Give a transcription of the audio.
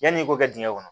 Yanni i k'o kɛ dingɛ kɔnɔ